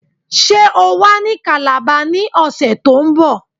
Ṣé o wà ní Calabar ní ọ̀sẹ̀ to ń bọ̀